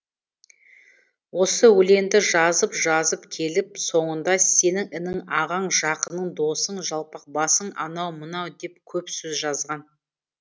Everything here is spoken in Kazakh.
осы өлеңді жазып жазып келіп соңында сенің інің ағаң жақының досың жалпақбасың анау мынау деп көп сөз жазған